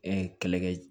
E kɛlɛkɛ